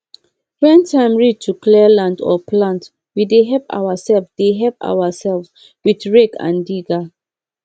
when time reach to clear land or plant we dey help ourselves dey help ourselves with rake and digger